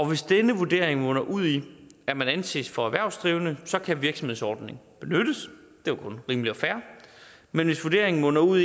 hvis denne vurdering munder ud i at man anses for erhvervsdrivende kan virksomhedsordningen benyttes det er kun rimeligt og fair men hvis vurderingen munder ud